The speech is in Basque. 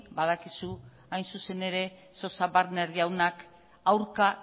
badakizu hain zuzen ere sosa wagner jaunak aurka